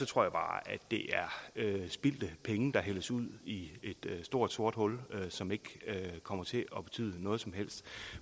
tror jeg bare det er spildte penge der hældes ud i et stort sort hul og som ikke kommer til at betyde noget som helst